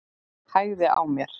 Hægði á mér.